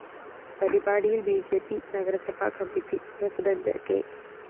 പരിപാടിയില്‍ B J P നഗരസഭാ committee president K